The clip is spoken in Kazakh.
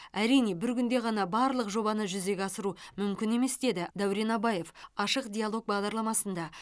әрине бір күнде ғана барлық жобаны жүзеге асыру мүмкін емес деді дәурен абаев ашық диалог бағдарламасында